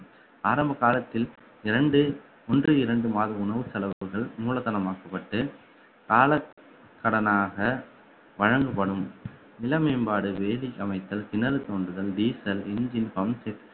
ஆரம்ப காலத்தில் இரண்டு ஒன்று இரண்டு மாத உணவு செலவுகள் மூலதனமாக்கப்பட்டு கால கடனாக வழங்கப்படும் நில மேம்பாடு வேதி அமைத்தல் கிணறு தோண்டுதல் diesel, engine, pumpset